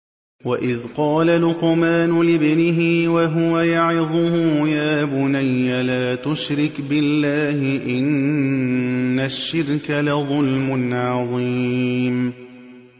وَإِذْ قَالَ لُقْمَانُ لِابْنِهِ وَهُوَ يَعِظُهُ يَا بُنَيَّ لَا تُشْرِكْ بِاللَّهِ ۖ إِنَّ الشِّرْكَ لَظُلْمٌ عَظِيمٌ